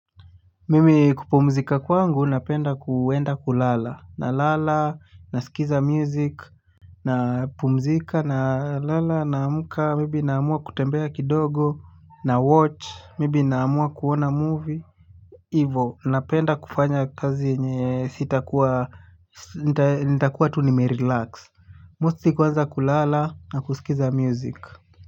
Mimi kupumzika kwangu napenda kuenda kulala, nalala, nasikiza music, napumzika, nalala, naamka maybe naamua kutembea kidogo, nawatch maybe naamua kuona movie, hivo. Napenda kufanya kazi ambayo sitakuwa nitakuwa tu nimerelax. Mostly kuanza kulala, na kusikiza music.